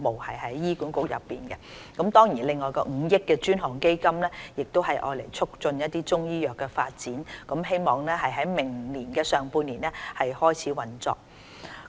此外，政府亦已設立5億元專項基金以促進中醫藥發展，希望在明年上半年開始運作。